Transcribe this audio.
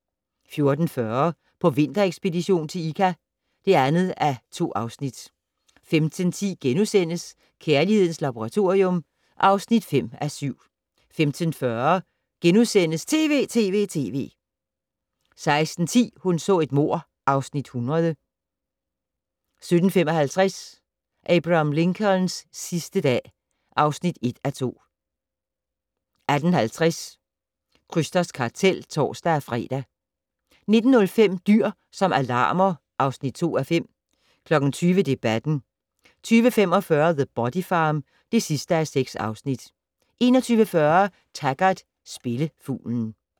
14:40: På vinterekspedition til Ikka (2:2) 15:10: Kærlighedens Laboratorium (5:7)* 15:40: TV!TV!TV! * 16:10: Hun så et mord (Afs. 100) 17:55: Abraham Lincolns sidste dag (1:2) 18:50: Krysters kartel (tor-fre) 19:05: Dyr som alarmer (2:5) 20:00: Debatten 20:45: The Body Farm (6:6) 21:40: Taggart: Spillefuglen